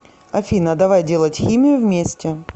афина давай делать химию вместе